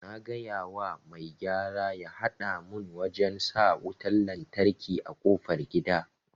Na gayawa mai gyara ya hada mun wajen sa wutan lantraki a kofar gida